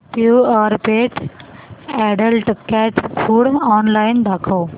Purepet adult cat food online दाखव